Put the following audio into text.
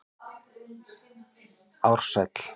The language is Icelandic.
Ársæl